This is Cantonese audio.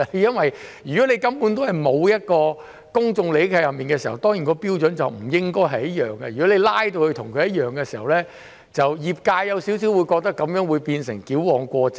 如果根本沒有涉及公眾利益，標準便不應該一樣，如果把標準拉至一樣的時候，業界會覺得有點矯枉過正。